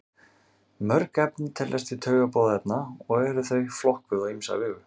Mörg efni teljast til taugaboðefna og eru þau flokkuð á ýmsa vegu.